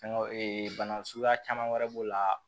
Fɛnkɛ bana suguya caman wɛrɛ b'o la